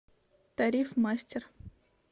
тариф мастер